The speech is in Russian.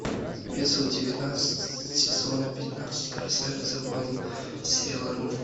эпизод девятнадцать сезона пятнадцать красавица воин сейлор мун